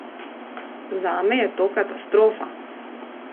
Zame je to katastrofa.